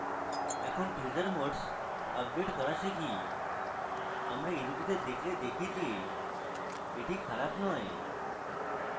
এখন teaser modes update করা শিখি আমরা এই দুটিতে দেখলে দেখি যে এটি খারাপ নয়